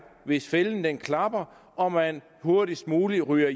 hvis fælden klapper og man hurtigst muligt ryger